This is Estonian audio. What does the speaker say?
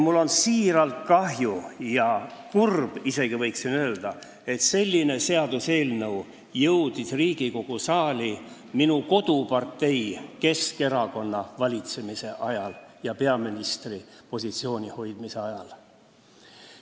Mul on südamest kahju – võiksin isegi öelda, et ma olen kurb –, et selline seaduseelnõu jõudis Riigikogu saali minu kodupartei Keskerakonna valitsemise ajal ja peaministripositsiooni hoidmise ajal.